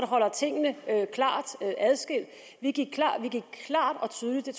holder tingene klart adskilt at vi gik klart og tydeligt til